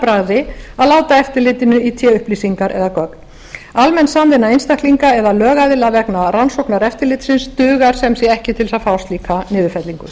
bragði að láta eftirlitinu í té upplýsingar eða gögn almenn samvinna einstaklings eða lögaðila vegna rannsóknar eftirlitsins dugar sem sé ekki til þess að fá niðurfellingu